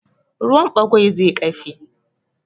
Ruwan ɓagwai zai ƙafe